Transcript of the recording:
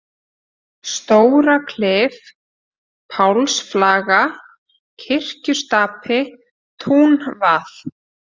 Stóraklif, Pálsflaga, Kirkjustapi, Túnvað